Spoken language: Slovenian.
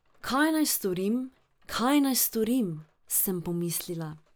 Kaj naj storim, kaj naj storim, sem pomislila.